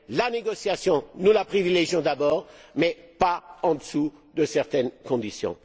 La négociation, nous la privilégions d'abord, mais pas en dessous de certaines conditions.